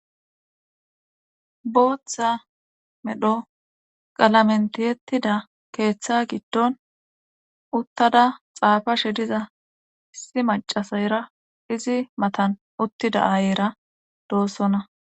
Booththa medho qalamen tiyetida keeththa gidon uttada xaafashe diza issi maccassera izi matan uttida aayera doosona.